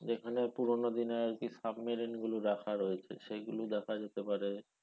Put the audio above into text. যেখানে পুরনো দিনের আরকি submarine গুলো রাখা রয়েছে সেগুলো দেখা যেতে পারে,